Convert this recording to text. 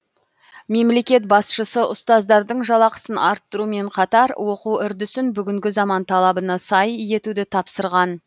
мемлекет басшысы ұстаздардың жалақысын арттырумен қатар оқу үрдісін бүгінгі заман талабына сай етуді тапсырған